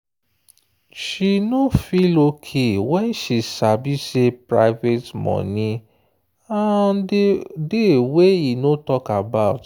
she no feel okay when she sabi say private money um dey wey e no talk about.